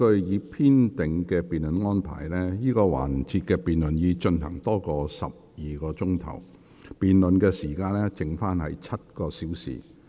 我提醒委員，根據已編定的辯論安排，這個環節的辯論已進行超過12小時，辯論時間尚餘7小時。